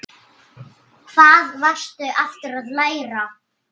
Hvað varstu aftur að læra?